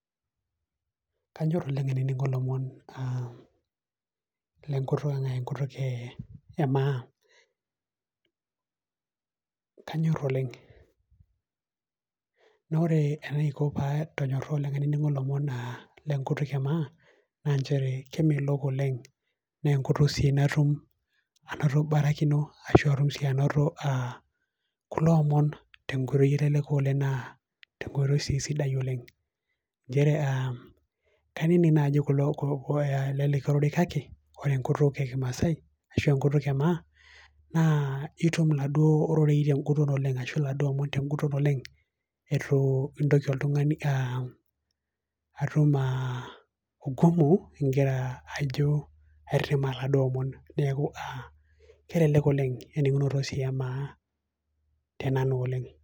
Kaanyor oleng aininin'go aah ilomon le enkutuk e maa. Kaanyor oleng, na ore enaiko paa tunyorro oleng na aininin'go ilomon naa enkutuk ee maa, na nchere kemeelook oleng na nkutuk sii natuum anutabarakino asharu sii anaioto kulo ilomon te nkotei sii naleku oleng, naa te nkotei sidai oleng. Nchere aa kaininik ajo ore lekaya ole kaki. Kore enkutuk e kimaasai asho nkutuk e maa naa etuum naado rorei na nkutuk oleng asho taado ilomon te nkutuk oleng etuu itoki iltung'ani atuum aah ungumu ajo aremaa taado ilomon neeku aah kelelek oleng eninin'go sii e maa tenanu oleng.